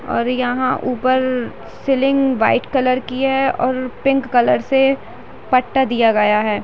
और यहाँ ऊपर सीलिंग वाइट कलर की है और पिंक कलर से पट्टा दिया गया है ।